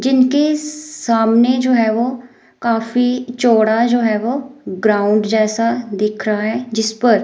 जिनके सामने जो है वो काफी चौड़ा जो है वो ग्राउंड जैसा दिख रहा है जिस पर--